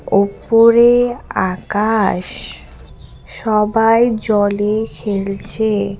ওপরে আকাশ সবাই জলে খেলছে।